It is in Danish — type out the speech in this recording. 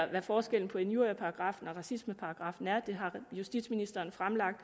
hvad forskellen på injurieparagraffen og racismeparagraffen er det har justitsministeren fremlagt